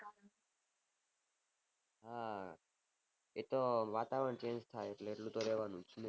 હા એતો વાતાવરણ change થાય એટલે એટલું તો રહેવાનું જ